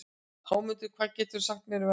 Hámundur, hvað geturðu sagt mér um veðrið?